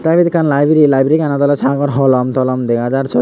aa ibet ekkan library library ganot oley sagor holom tolom dega jar syot.